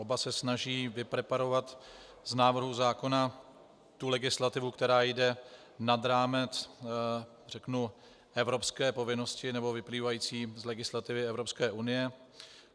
Oba se snaží vypreparovat z návrhu zákona tu legislativu, která jde nad rámec, řeknu, evropské povinnosti nebo vyplývající z legislativy Evropské unie.